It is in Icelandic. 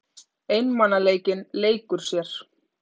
Einmanaleikinn leikur sér.